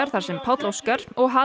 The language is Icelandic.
þar sem Páll Óskar og